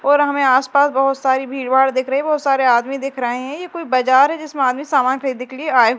और हमें आसपास बहोत सारी भीड़भाड़ दिख रही बहोत सारे आदमी दिख रहे हैं ये कोई बाजार है जिसमें आदमी सामान खरीदने के लिए आए--